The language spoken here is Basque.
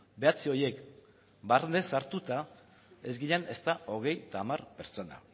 bederatzi horiek barne sartuta ez ginen ezta hogeita hamar pertsona